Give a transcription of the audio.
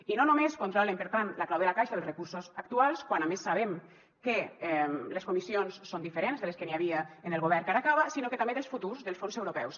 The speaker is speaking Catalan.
i no només controlen per tant la clau de la caixa dels recursos actuals quan a més sabem que les comissions són diferents de les que n’hi havia en el govern que ara acaba sinó que també dels futurs dels fons europeus